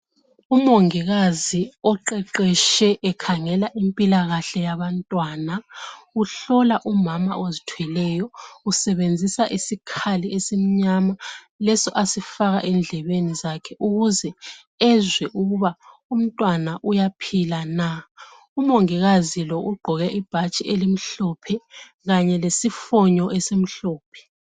umongikazi oqeqetshe ekhangela impilakahle yabantwana uhlola umama ozithweleyo usebenzisa isikhali esimnyama leso asifaka endlebeni zakhe ukuze ezwe ukuba umntwana uyaphila na umongikazi lo ugqoke ibhatshi elimhlophe kanye lesifonyo esimhlophe